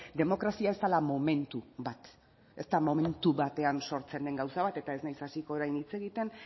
demokrazia ez dela momentu bat ez da momentu batean sortzen den gauza bat eta ez naiz hasiko orain hitz egiten